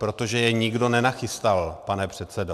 Protože je nikdo nenachystal, pane předsedo.